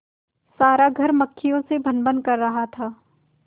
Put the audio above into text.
सारा घर मक्खियों से भनभन कर रहा था